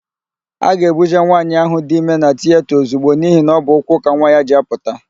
A ga-ebuje nwaanyị ahụ dị ime na tiyeta ozigbo n'ihi na ọ bụ ụkwụ ka nwa ya ji apụta.